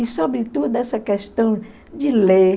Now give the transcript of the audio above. E, sobretudo, essa questão de ler.